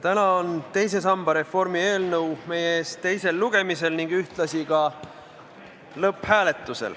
Täna on teise samba reformi eelnõu meie ees teisel lugemisel ning ühtlasi lõpphääletusel.